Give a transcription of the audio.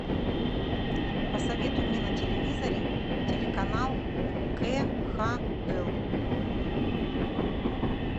посоветуй мне на телевизоре телеканал кхл